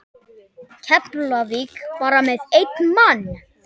Keflavík bara með einn mann?